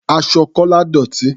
Aṣọ Kọ́lá dọ̀tí.